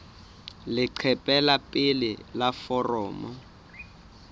leqephe la pele la foromo